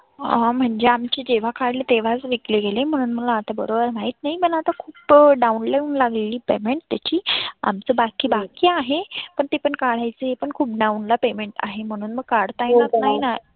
अं म्हणजे आमचे जेव्हा काढले तेव्हाच विकले गेले म्हणून मला बरोबर माहित नाही. मला आता खुप down level लागलेली payment त्याची. आपत बाकी आहे पण ती पण काढायची ते पण खुप down ला payment आहे म्हणून मग काढता येणार नाहीना.